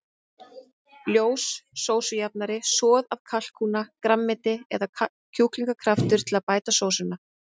Ljós sósujafnari, soð af kalkúna, grænmeti eða kjúklingakraftur til að bæta sósuna.